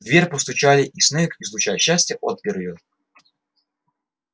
в дверь постучали и снегг излучая счастье отпер её